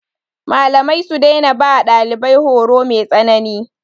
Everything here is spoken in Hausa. Malamai su daina ba ɗalibai horo mai tsanani.